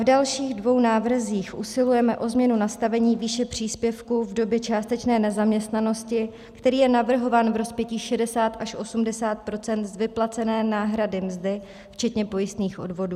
V dalších dvou návrzích usilujeme o změnu nastavení výše příspěvku v době částečné nezaměstnanosti, který je navrhován v rozpětí 60 až 80 % z vyplacené náhrady mzdy včetně pojistných odvodů.